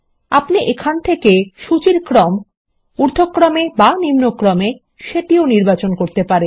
আপনি এখান থেকে সুচির ক্রম ঊর্ধক্রমে বা নিম্নক্রমে সেটিও নির্বাচন করতে পারেন